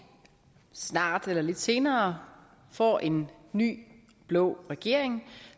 snart eller lidt senere får en ny blå regering